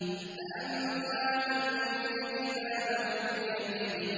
فَأَمَّا مَنْ أُوتِيَ كِتَابَهُ بِيَمِينِهِ